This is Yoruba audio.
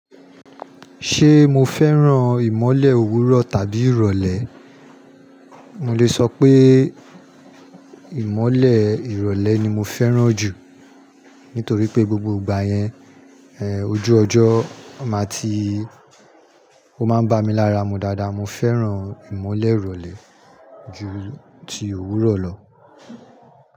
Ṣé mo fẹ́ràn ìmọ́lẹ̀ òwúrọ̀ tàbí ìrọ̀lẹ́? Mo lè sọ pé ìmọ́lẹ̀ ìrọ̀lẹ́ ni mo fẹ́ràn jù nítorí pé gbogbo ìgbà yẹn, ẹ́, ojú ọjọ́ máa ti-- ó máa ń bá mi lára mu dáadáa. Mo fẹ́ràn ìmọ́lẹ̀ ìrọ̀lẹ́ ju ti òwúrọ̀ lọ.